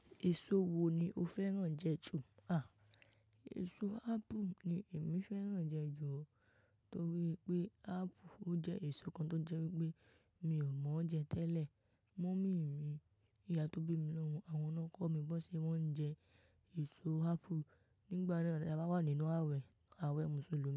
Èso wo ni o fẹ́ràn jẹ jù? À, èso ápù ni èmi fẹ́ràn jẹ jù torí pé ápù ó jẹ́ èso kan tó jẹ́ pé mi ò mọ̀ọ́ jẹ tẹ́lẹ̀. Mummy mi, ìyá tó bí mi lọ́mọ, àwọn ọkọ mi gbọ́ ṣe wọ́n ń jẹ èso ápù nígbà náà tí a bá wà nínú àwẹ̀, àwẹ̀ Mùsùlùmí.